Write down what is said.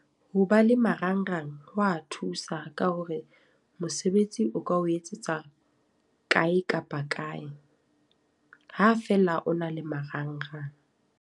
Ho ba le marangrang ho wa thusa, ka hore mosebetsi o ka o etsetsa kae kapa kae. Ha fela o na le marangrang.